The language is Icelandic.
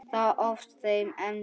Þar hófst þessi eymd.